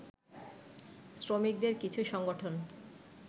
শ্রমিকদের কিছু সংগঠন